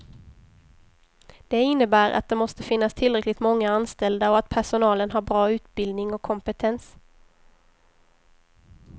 Det innebär att det måste finnas tillräckligt många anställda och att personalen har bra utbildning och kompetens.